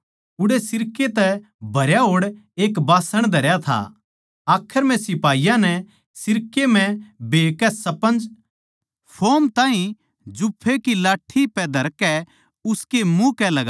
उड़ै सिरके तै भरया होड़ एक बास्सण धरया था आखर म्ह सिपाहियाँ नै सिरके म्ह भे कै स्पंज फोम ताहीं जुफे की लाठ्ठी पै धरकै उसकै मुँह कै लगाया